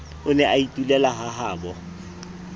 o ne a itulela hahabo